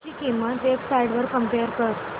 ची किंमत web sites वर कम्पेअर कर